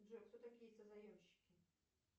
джой кто такие созаемщики